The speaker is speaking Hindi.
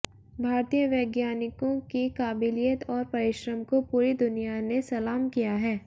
भारतीय वैज्ञानिकों की काबिलियत और परिश्रम को पूरी दुनिया ने सलाम किया है